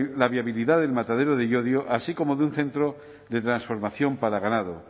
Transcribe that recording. la viabilidad del matadero de llodio así como de un centro de transformación para ganado